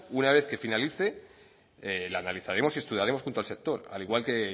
una vez que finalice la analizaremos y estudiaremos junto al sector al igual que